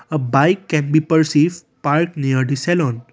a bike can be perceive park near the saloon.